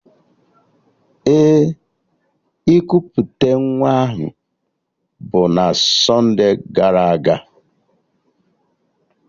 Ee, ikuputa nwa ahụ bụ na sonde gara aga